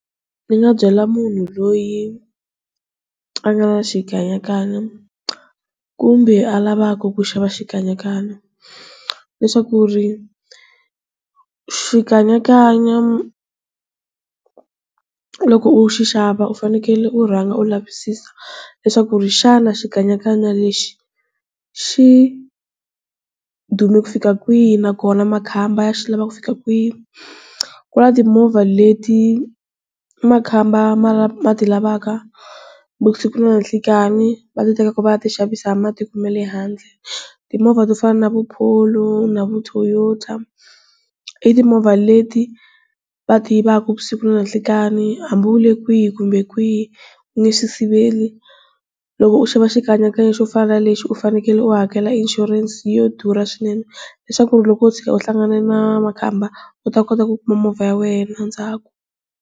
Ni nga byela munhu loyi a nga na xikanyakanya kumbe a lavaka ku xava xikanyakanya leswaku ri xikanyakanya loko u xi xava u fanekele u rhanga u lavisisa leswaku ri xana xikanyakanya lexi xi dume ku fika kwihi nakona makhamba ya xi lava ku fika kwihi ku na timovha leti makhamba ma ti lavaka vusiku na nhlikani va ti teka ku va ya ti xavisa ma le handle, timovha to fana na vu Polo na vo Toyota i timovha leti va ti yivaka vusiku na nhlikani hambi u le kwihi kumbe kwihi u nge swi siveli loko u xava xikanyakanya xo fana na lexi u fanekele u hakela insurance yo durha swinene leswaku loko wo tshuka u hlangana na makhamba u ta kota ku kuma movha ya wena endzhaku.